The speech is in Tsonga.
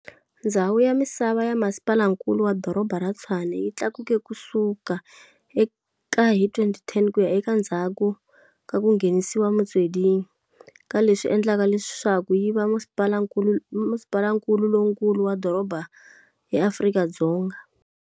Ndzhawu ya misava ya Masipalankulu wa Doroba ra Tshwane yi tlakuke kusuka eka hi 2010 ku ya eka endzhaku ka ku nghenisiwa Metsweding, kaleswi endlaka leswaku yi va Masipalankulu lowunkulu wa Doroba eAfrika-Dzonga.